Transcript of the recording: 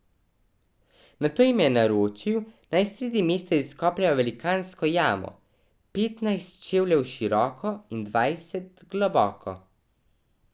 Nato jim je naročil, naj sredi mesta izkopljejo velikansko jamo, petnajst čevljev široko in dvajset globoko.